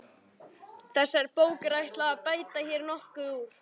Þessari bók er ætlað að bæta hér nokkuð úr.